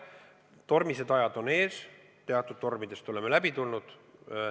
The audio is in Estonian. Tormised ajad on ees, teatud tormidest oleme läbi tulnud.